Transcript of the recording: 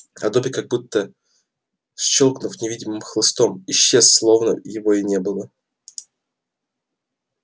а добби как будто щёлкнув невидимым хлыстом исчез словно его и не было